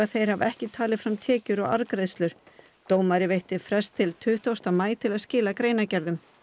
þeir hafi ekki talið fram tekjur og arðgreiðslur dómari veitti frest til tuttugasta maí til að skila greinargerðum